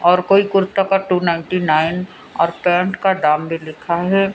और कोई कुर्ता का टू नाइंटी नाइन और पैंट का दाम भी लिखा है।